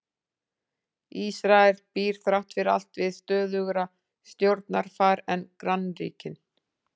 Ísrael býr þrátt fyrir allt við stöðugra stjórnarfar en grannríkin.